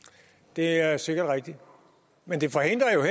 det er sikkert rigtigt men det forhindrer jo